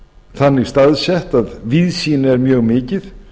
þannig staðsett að víðsýni er mjög mikið